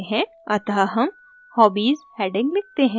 अतः हम hobbies heading लिखते हैं